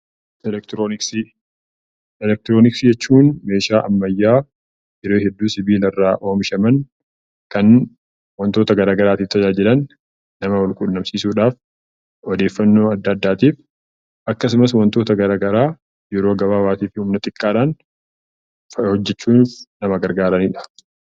Elektroniksii jechuun meeshaa ammayyaa yeroo hedduu sibiila irraa oomishan kan wantoota garaagaraatiif tajaajilan qaama garaagaraa wal quunnamsiisuudhaaf akkasumas wantoota garaagaraa yeroo gabaabaa fi xiqqaadhaan hojjachuuf kan nama gargaaranidha